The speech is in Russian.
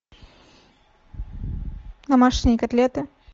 домашние котлеты